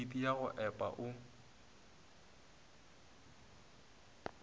phemiti ya go epa o